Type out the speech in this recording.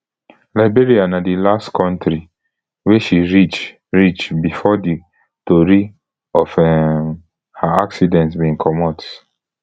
liberia na di last kontri wey she reach reach before di tori of um her accident bin comot